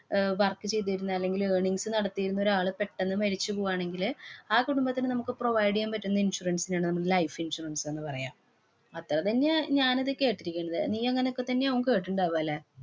അഹ് work ചെയ്തിരുന്ന അല്ലെങ്കില് earnings നടത്തിയിരുന്ന ഒരാള് പെട്ടന്ന് മരിച്ചു പോവാണെങ്കില് ആ കുടുംബത്തിനു നമുക്ക് provide എയ്യാന്‍ പറ്റുന്ന insurance നെയാണ് നമ്മള് life insurance എന്ന് പറയ.